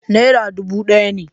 Nera dubu ɗaya ne.